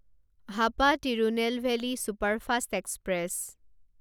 Hapa Tirunelveli superfast express